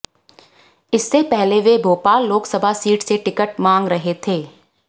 इससे पहले वे भोपाल लोकसभा सीट से टिकट मांग रहे थे